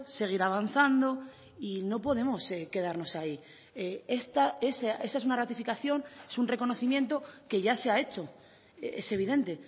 seguir avanzando y no podemos quedarnos ahí esa es una ratificación es un reconocimiento que ya se ha hecho es evidente